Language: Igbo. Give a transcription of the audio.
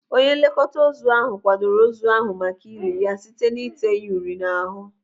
Onye nlekọta ozu kwadoro ozu ahụ maka ili ya site n'ite ya uri n'ahụ.